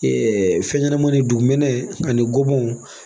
fɛn ɲɛnama dugumɛnɛ ani gɔbɔniw